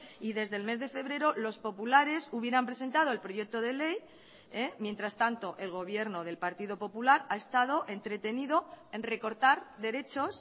y desde el mes de febrero los populares hubieran presentado el proyecto de ley mientras tanto el gobierno del partido popular ha estado entretenido en recortar derechos